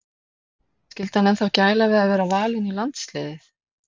Skyldi hann ennþá gæla við að vera valinn í landsliðið?